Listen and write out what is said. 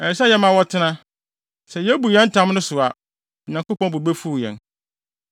Ɛsɛ sɛ yɛma wɔtena. Sɛ yebu yɛn ntam no so a, Onyankopɔn bo befuw yɛn.